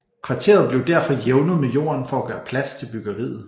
Kvarteret blev derfor jævnet med jorden for at gøre plads til byggeriet